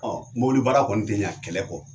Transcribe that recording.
Ɔ mobilibara kɔni tɛ ɲɛ kɛlɛ kɔ